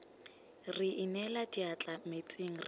re inela diatla metsing re